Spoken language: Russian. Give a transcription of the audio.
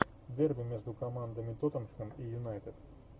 дерби между командами тоттенхэм и юнайтед